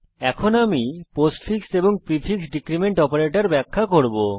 এখন আমি পোস্টফিক্স এবং প্রিফিক্স ডীক্রীমেন্ট অপারেটর ব্যাখ্যা করব